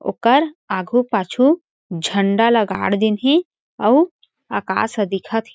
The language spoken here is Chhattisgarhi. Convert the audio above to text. ओकर आगू-पाछू झण्डा ला गाड दिन हे अउ आकाश ह दिखत हे।